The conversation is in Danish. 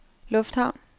lufthavn